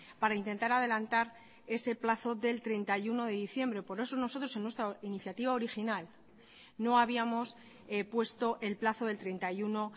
para intentar adelantar ese plazo del treinta y uno de diciembre por eso nosotros en nuestra iniciativa original no habíamos puesto el plazo del treinta y uno